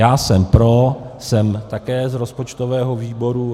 Já jsem pro, jsem také z rozpočtového výboru.